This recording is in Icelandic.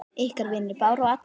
Ykkar vinir Bára og Alda.